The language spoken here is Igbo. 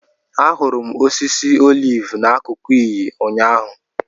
Ahụrụ m osisi oliv n’akụkụ iyi, ụnyaahụ.